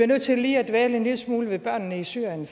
nødt til lige at dvæle en lille smule ved børnene i syrien